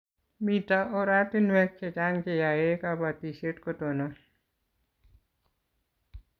Mito oratinwek chechang' che yae kabatishet ko tonon